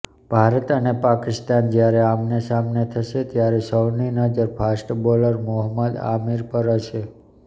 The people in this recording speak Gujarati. ભારત અને પાકિસ્તાન જ્યારે આમનેસામને થશે ત્યારે સૌની નજર ફાસ્ટ બોલર મોહમ્મદ આમિર પર હશે